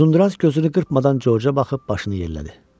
Uzunduraç gözünü qırpmadan Corca baxıb başını yellədi.